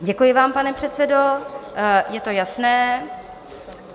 Děkuji vám, pane předsedo, je to jasné.